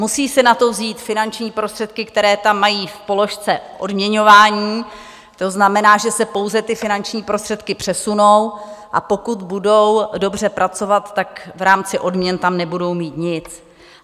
Musí si na to vzít finanční prostředky, které tam mají v položce odměňování, to znamená, že se pouze ty finanční prostředky přesunou, a pokud budou dobře pracovat, tak v rámci odměn tam nebudou mít nic.